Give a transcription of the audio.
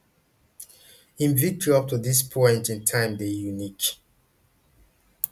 im victory up to dis point in time dey unique